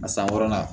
A san wɔɔrɔnan